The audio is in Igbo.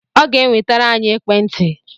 Ọ ga-enwetere anyị ekwentị